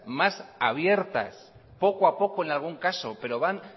más abiertas poco a poco en algún caso pero van